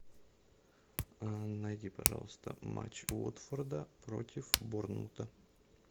найди пожалуйста матч уотфорда против борнмута